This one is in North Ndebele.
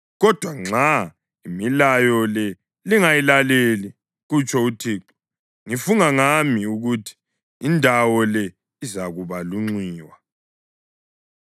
Kodwa nxa imilayo le lingayilaleli, kutsho uThixo, ngifunga ngami ukuthi indawo le izakuba lunxiwa.’ ”